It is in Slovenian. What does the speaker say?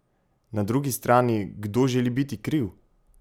Na drugi strani, kdo želi biti kriv?